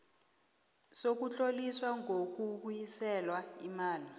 sokutloliswa kokubuyiselwa imali